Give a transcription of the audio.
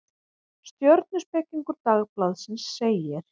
Stjörnuspekingur Dagblaðsins segir: